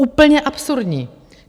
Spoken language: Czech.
Úplně absurdní.